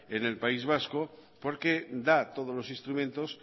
en el país vasco porque da todos los instrumentos